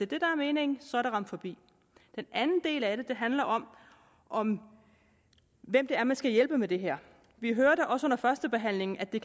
det der er meningen så har det ramt forbi den anden del af det handler om om hvem det er man skal hjælpe med det her vi hørte også under førstebehandlingen at det